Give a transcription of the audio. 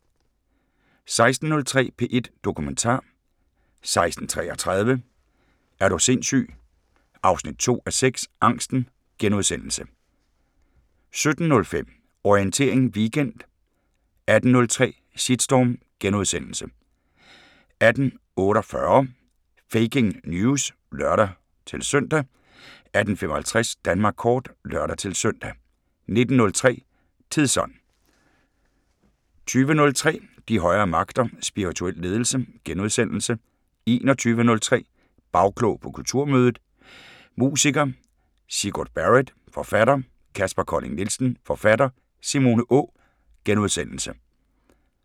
16:03: P1 Dokumentar 16:33: Er du sindssyg 2:6 – Angsten * 17:05: Orientering Weekend 18:03: Shitstorm * 18:48: Faking News! (lør-søn) 18:55: Danmark kort (lør-søn) 19:03: Tidsånd 20:03: De højere magter: Spirituel ledelse * 21:03: Bagklog på Kulturmødet: musiker Sigurd Barrett, forfatter Kaspar Colling Nielsen, forfatter Simone Å * 23:03: Orientering Weekend